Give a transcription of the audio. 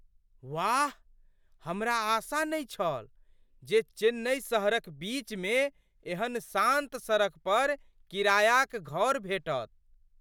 वाह! हमरा आशा नहि छल जे चेन्नई शहरक बीचमे एहन शान्त सड़क पर किरायाक घर भेटत।